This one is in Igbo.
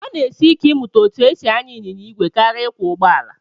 Ọ na-esi ike ịmụta etu e si anya ịnyịnya ìgwè karịa ịkwọ ụgbọala